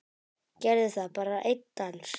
Gerðu það, bara einn dans.